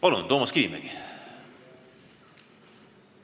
Palun, Toomas Kivimägi!